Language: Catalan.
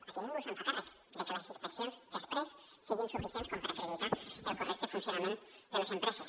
aquí ningú se’n fa càrrec de que les inspeccions després siguin suficients com per acreditar el correcte funcionament de les empreses